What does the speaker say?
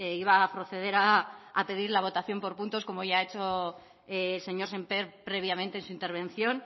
iba a proceder a pedir la votación por puntos como ya ha hecho el señor sémper previamente en su intervención